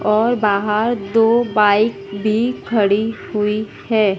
और बाहर दो बाइक भी खड़ी हुई है।